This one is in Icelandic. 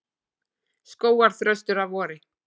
Skógarþröstur að vori.